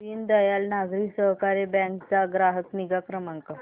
Deendayal Nagari Sahakari bank चा ग्राहक निगा क्रमांक